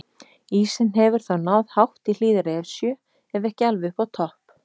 Ísinn hefur þá náð hátt í hlíðar Esju ef ekki alveg upp á topp.